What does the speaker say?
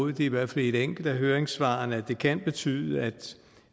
i hvert fald i et enkelt af høringssvarene at det kan betyde at